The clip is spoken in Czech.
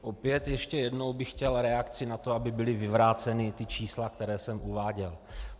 Opět ještě jednou bych chtěl reakci na to, aby byla vyvrácena ta čísla, která jsem uváděl.